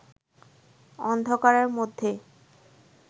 অন্ধকারের মধ্যে